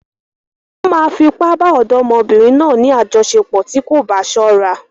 Wọ́n máa fi ipá bá ọ̀dọ́mọbìnrin náà ní àjọṣepọ̀ tí kò bá ṣọ́ra.